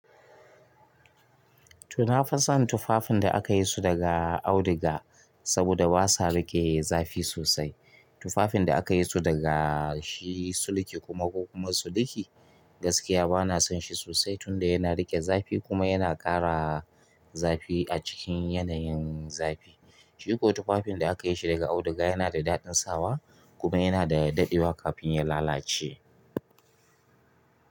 To, na fi son tufafin da aka yi su daga auduga saboda ba sa riƙe zafi sosai. Tufafin da aka yi su daga shi sulke ko kuma su diki gaskiya ba na son shi sosai tunda yana riƙe zafi kuma yana ƙara zafi a cikin yanayin zafi. Shi ko tufafin da aka yi shi daga auduga yana da daɗin sawa kuma yana da daɗewa kafin ya lalace.